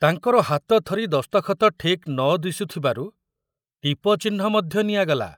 ତାଙ୍କର ହାତ ଥରି ଦସ୍ତଖତ ଠିକ ନ ଦିଶୁ ଥିବାରୁ ଟିପଚିହ୍ନ ମଧ୍ୟ ନିଆଗଲା।